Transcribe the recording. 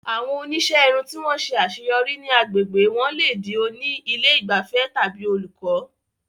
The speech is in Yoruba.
Àwọn oníṣẹ́ irun tí wọ́n ṣe àṣeyọrí ní àgbègbè wọn lè di oní ilé ìgbafẹ́ tàbí olùkọ́.